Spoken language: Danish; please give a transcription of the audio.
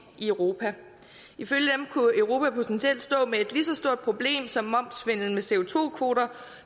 i europa ifølge dem kunne europa potentielt stå med et lige så stort problem som momssvindel med co